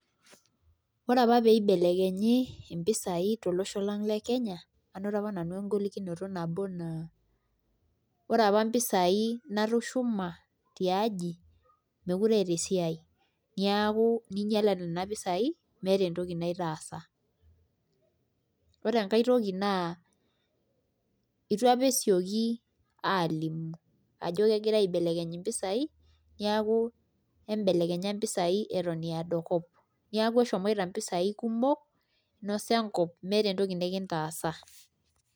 Ore apa pee ibelekenyi mpisai, tolosho lang le Kenya, anoto apa nanu egolikinoto nabo naa, ore apa mpisai natushuma, tiaji. meekire eeta esiai, neeku ingialate nena pisai, meekure eeta entoki naitaasa. ore enkae toki naa eitu apa esioki aalimu eedo, kop, neeku eshomoito mpisai, kumok, inosa enkop, meeta entoki nikintaasa.